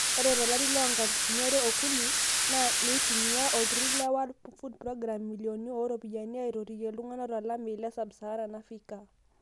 ore to lari loo nkalifuni are okuni naa neitumia olturur le worl food program imilioni ooropoyiani aitotoyie iltunganak to lameyu te sub Saharan Africa